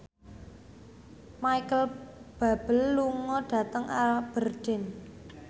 Micheal Bubble lunga dhateng Aberdeen